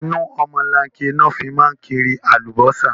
Inú ọmọlanke ni wọn fi máa ń kiri Alubọ́sá